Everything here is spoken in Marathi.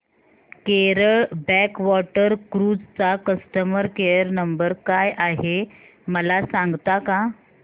केरळ बॅकवॉटर क्रुझ चा कस्टमर केयर नंबर काय आहे मला सांगता का